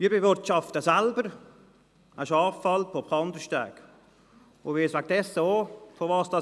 Ich bewirtschafte selber eine Schafalp oberhalb von Kandersteg und weiss deshalb auch, wovon ich spreche.